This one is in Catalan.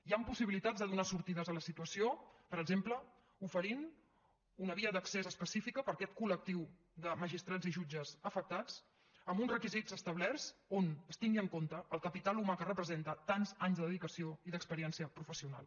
hi han possibilitats de donar sortides a la situació per exemple oferint una via d’accés específica per a aquest collectiu de magistrats i jutges afectats amb uns requisits establerts on es tingui en compte el capital humà que representen tants anys de dedicació i d’experiència professional